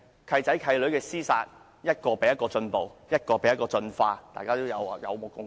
"契仔"、"契女"之間的廝殺是越來越進步，大家也有目共睹。